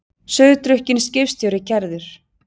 Sauðdrukkinn skipstjóri kærður